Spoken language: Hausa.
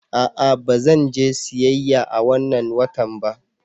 A'a, ba zan je siyayya a wannan watan ba.